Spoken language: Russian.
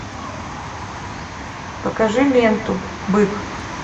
покажи ленту бык